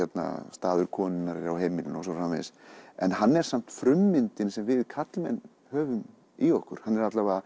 staður konunnar er á heimilinu og svo frumvarpsins en hann er samt frummyndin sem við karlmenn höfum í okkur hann er